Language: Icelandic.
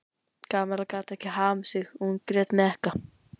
Kamilla gat ekki hamið sig og hún grét með ekka.